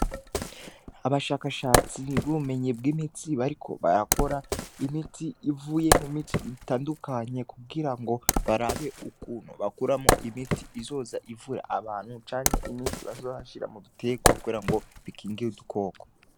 Abashakashatsi b' ubumenyi bw' imiti bariko barakora imiti ivuye mu miti itandukanye kugira ngo barabe ukuntu bakuramwo imiti izoza ivura abantu canke imiti bazohashira mu bitegwa kugira ngo bikingira udukoko.